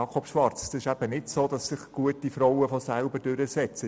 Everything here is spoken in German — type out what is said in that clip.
Es ist eben nicht so, dass sich gute Frauen in solchen Gremien selber durchsetzen.